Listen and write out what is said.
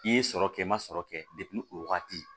I ye sɔrɔ kɛ n ma sɔrɔ kɛ depi o wagati